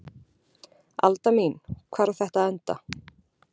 Alda mín, hvar á þetta að enda?